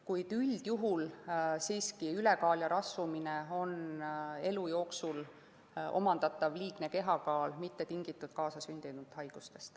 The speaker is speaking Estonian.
Kuid üldjuhul siiski ülekaal ja rasvumine on elu jooksul omandatud, mitte tingitud kaasasündinud haigustest.